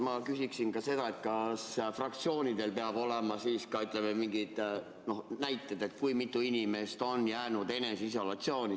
Ma küsin ka seda, et kas fraktsioonidel peavad olema siis ka, ütleme, mingid näited, et kui mitu inimest on jäänud eneseisolatsiooni.